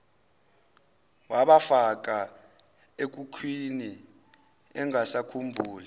wabafaka ekhukhwini engasakhumbuli